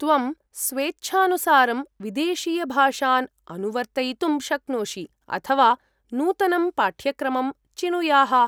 त्वं स्वेच्छानुसारं विदेशीयभाषाम् अनुवर्तयितुं शक्नोषि, अथवा नूतनं पाठ्यक्रमं चिनुयाः।